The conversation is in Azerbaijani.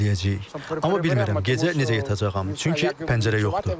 Amma bilmirəm, gecə necə yatacağam, çünki pəncərə yoxdur.